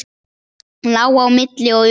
Lá á milli og umlaði.